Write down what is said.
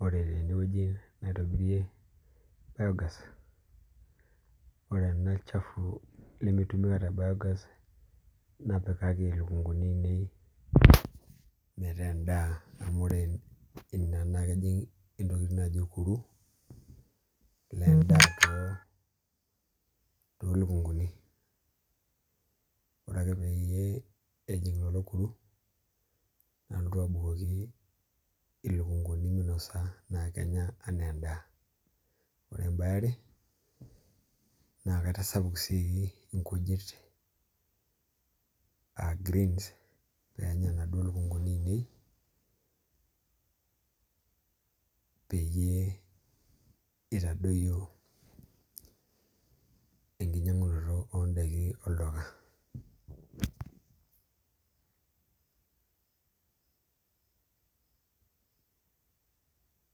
Ore tenewueji matejo naji aitobirie biogas ore ena shafu nemeitumika te enabiogas napikaki ilukunguni ainei metaa en'daa amu ore ina naa kejing' nai ilkuruk lendaa toolukunguni ore ake peyie ejing lelo kuru nalotu abukoki ilukunguni minosa naa kenya enaa en'daa Ore em'bae eare naa kaitasapuk sii nkujit aa greens peenya inaduo lukunguni ainei peyie itadpyio enkinyangunoto oon'daiki olduka